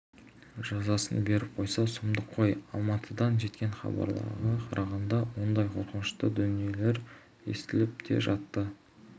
жазасын беріп қойса сұмдық қой алматыдан жеткен хабарларға қарағанда ондай қорқынышты дүниелер естіліп те жатты